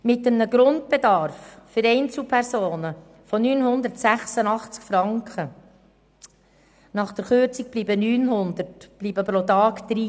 Mit einem Grundbedarf für Einzelpersonen von 986 Franken – nach der Kürzung sind es noch 900 Franken – bleiben pro Tag 30 Franken.